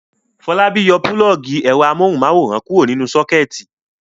Fọlábí yóò pulọ́ọ́gì ẹ̀rọ amóhùmáwòhán kúrò nínú sọ́kẹ́tì.